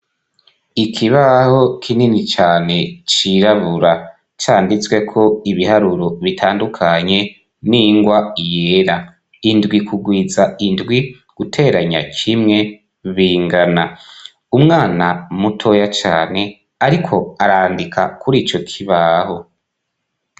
Ikibaho kinini cane cirabura canditsweko ibiharuro bitandukanye n'ingwa yera: "indwi kugwiza indwi, guteranya kimwe bingana ......"; umwana mutoya cane ariko arandika kuri ico kibaho.